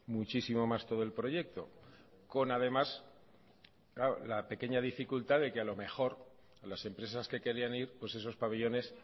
muchísimo más todo el proyecto con además la pequeña dificultad de que a lo mejor las empresas que querían ir pues esos pabellones